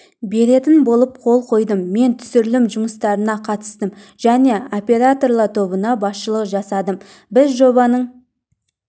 беретін болып қол қойдым мен түсірілім жұмыстарына қатыстым және операторлар тобына басшылық жасадым біз жобаның